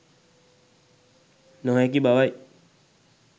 නොහැකි බවයි.